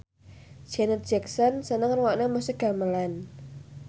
Janet Jackson seneng ngrungokne musik gamelan